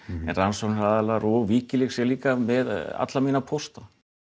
en rannsóknaraðilar og Wikileaks er með alla mína pósta